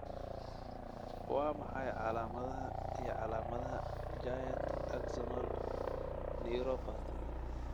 Waa maxay calaamadaha iyo calaamadaha Giant axonal neuropathy?